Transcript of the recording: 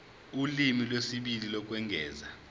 ulimi lwesibili lokwengeza